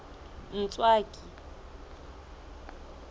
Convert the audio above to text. ntswaki